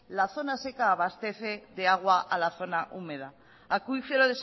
la zona seca abastece de agua a la zona húmeda acuífero